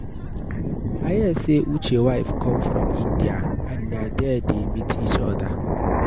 I hear say Uche wife come from India and na there dey meet each other.